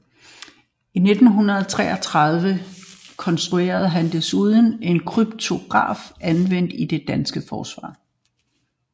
I 1933 konstruerede han desuden en kryptograf anvendt i det danske forsvar